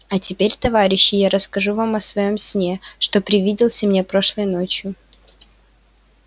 а теперь товарищи я расскажу вам о своём сне что привиделся мне прошлой ночью